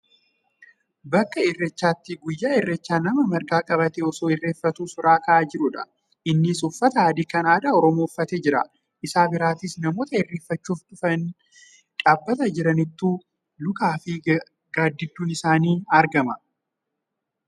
Bakka irreechaatti guyyaa irreechaa nama marga qabatee osoo irreeffatuu suuraa ka'aa jirudha. Innis uffata adii kan aadaa oromoo uffatee jira. Isa birattiis nammota irreeffachuuf dhufanii dhaabataa jiranitu lukaafi gaaddidduun isaanii argama.